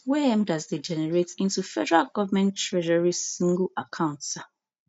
wey mdas dey generate into federal government treasury sngle account tsa